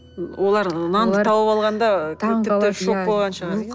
олар нанды тауып алғанда тіпті шок болған шығар